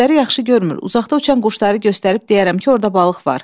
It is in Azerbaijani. Gözləri yaxşı görmür, uzaqda uçan quşları göstərib deyərəm ki, orda balıq var.